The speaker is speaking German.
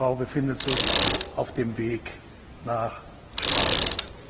Seine Ehefrau befindet sich auf dem Weg nach Straßburg.